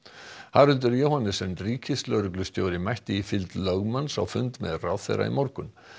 Haraldur Johannessen ríkislögreglustjóri mætti í fylgd lögmanns á fund með ráðherra í morgun